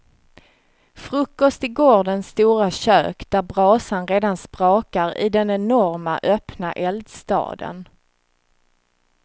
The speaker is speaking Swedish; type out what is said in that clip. Frukost i gårdens stora kök där brasan redan sprakar i den enorma öppna eldstaden.